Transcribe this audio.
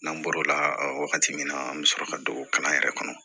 N'an bɔr'o la wagati min na an bɛ sɔrɔ ka don o kalan yɛrɛ kɔnɔ